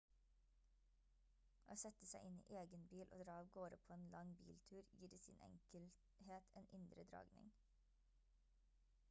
å sette seg inn i egen bil og dra avgårde på en lang biltur gir i sin enkelhet en indre dragning